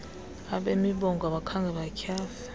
abemibongo abakhange batyhafe